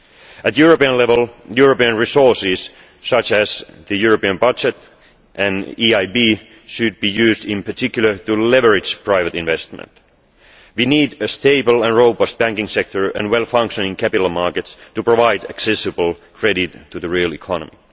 At European level, European resources, such as the European budget and the EIB, should be used in particular to leverage private investment. We need a stable and robust banking sector and well functioning capital markets to provide accessible credit to the real economy.